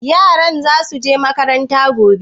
Yaran za su je makaranta gobe?